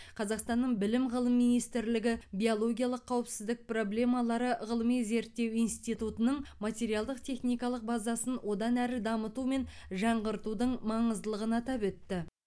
қазақстанның білім ғылым министрлігі биологиялық қауіпсіздік проблемалары ғылыми зерттеу институтының материалдық техникалық базасын одан әрі дамыту мен жаңғыртудың маңыздылығын атап өтті